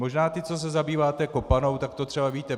Možná vy, co se zabýváte kopanou, tak to třeba víte.